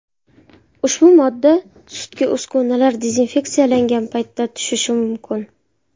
Ushbu modda sutga uskunalar dezinfeksiyalangan paytda tushishi mumkin.